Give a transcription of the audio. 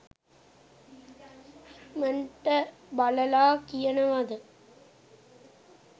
ඉක්මනට බලලා කියනවද